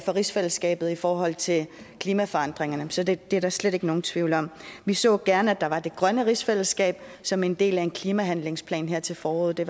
for rigsfællesskabet i forhold til klimaforandringerne så det er der slet ikke nogen tvivl om vi så gerne at der var det grønne rigsfællesskab som en del af en klimahandlingsplan her til foråret det